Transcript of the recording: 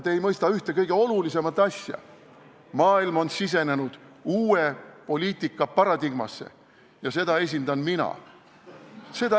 Te ei mõista ühte kõige olulisemat asja: maailm on sisenenud uue poliitika paradigmasse ja seda esindan mina.